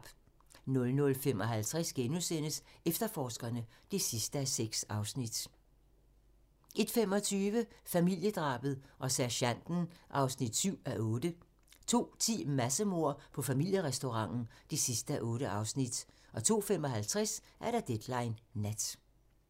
00:55: Efterforskerne (6:6)* 01:25: Familiedrabet og sergenten (7:8) 02:10: Massemord på familierestauranten (8:8) 02:55: Deadline Nat